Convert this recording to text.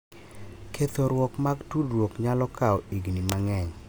Kethoruok mar tudruok nyalo kawo higni mang’eny,